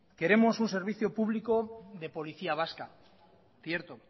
queremos un servicio público de policía vasca cierto